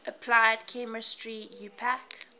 applied chemistry iupac